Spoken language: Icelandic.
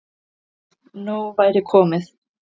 Nóg væri komið.